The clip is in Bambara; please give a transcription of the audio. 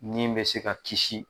Ni bɛ se ka kisi